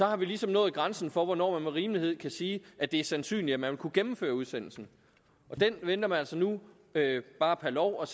har vi ligesom nået grænsen for hvornår man med rimelighed kan sige at det er sandsynligt at man vil kunne gennemføre udsendelsen den vælger man så nu bare per lov